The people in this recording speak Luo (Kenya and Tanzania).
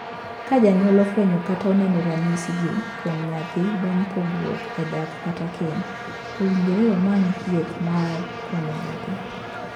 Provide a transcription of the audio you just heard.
Ka janyuol ofwenyo kata oneno ranyisigi kuom nyathi bang' pogruok e dak kata keny, owinjore omany thieth mar konyo nyathi.